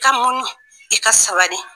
I ka muɲu i ka sabali